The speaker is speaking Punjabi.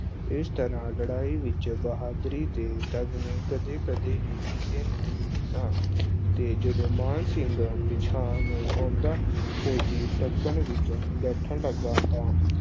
ਇਸ ਤਰ੍ਹਾਂ ਲੜਾਈ ਵਿੱਚ ਬਹਾਦੁਰੀ ਦੇ ਤਗਮੇ ਕਦੇ-ਕਦੇ ਹੀ ਕਿਸੇ ਨੂੰ ਮਿਲਦੇ ਸਨ ਅਹ ਤੇ ਜਦੋਂ ਮਾਨ ਸਿੰਘ ਪਿਛਾਂਹ ਨੂੰ ਆਉਂਦਾ ਫੌਜੀ ਤਾਂਗੇ ਵਿੱਚ ਬੈਠਣ ਲੱਗਾ ਤਾਂ